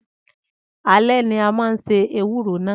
Alẹ́ ni a máa se ewúro náà.